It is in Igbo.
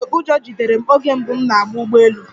Ee, ụjọ jidere m oge mbụ m na-agba ụgbọ elu